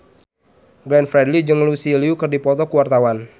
Glenn Fredly jeung Lucy Liu keur dipoto ku wartawan